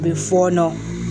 A bɛ fɔɔnɔ